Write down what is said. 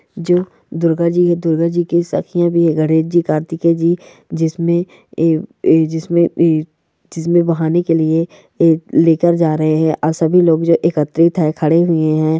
जो दुर्गा जी दुर्गा जी के गणेश जी कार्तिके जी जिसमे ए-ए-जिसमे ए -ए बहाने के लिए लेकर जा रहे है और सभी लोग जो एकत्रित है खड़े हुए है।